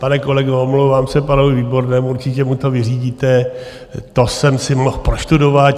Pane kolego, omlouvám se panu Výbornému, určitě mu to vyřídíte, to jsem si mohl prostudovat.